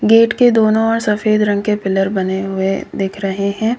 Gate के दोनों ओर सफेद रंग के पिलर बने हुए दिख रहे हैं।